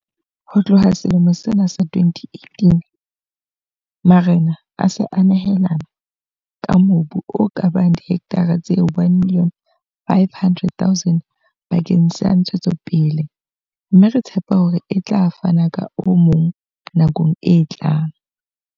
Ho tloha ka selemo sa 2018, marena a se a nehelane ka mobu o ka bang dihektara tse 1 500 000 bakeng sa ntshetsopele, mme re tshepa hore a tla fana ka o mong nakong e tlang.